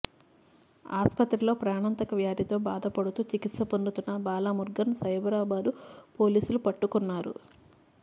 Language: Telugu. ఆస్పత్రిలో ప్రాణాంతక వ్యాధితో బాధపడుతూ చికిత్స పొందుతున్న బాలమురుగన్ను సైబరాబాద్ పోలీసులు పట్టుకున్నారు